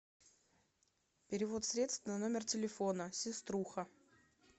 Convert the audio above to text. перевод средств на номер телефона сеструха